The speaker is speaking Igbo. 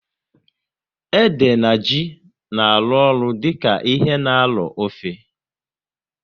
Ede na ji na arụ ọrụ dịka ihe na arọ ofe